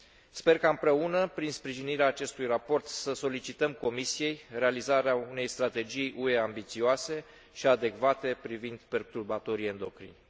Sper ca, împreună, prin sprijinirea acestui raport, să solicităm Comisiei realizarea unei strategii UE ambițioase și adecvate privind perturbatorii endocrini.